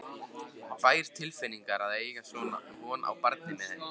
bær tilfinning að eiga von á barni með henni.